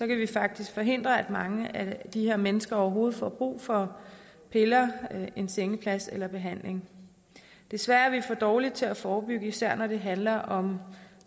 vi faktisk forhindre at mange af de her mennesker overhovedet får brug for piller en sengeplads eller behandling desværre er vi for dårlige til at forebygge især når det handler om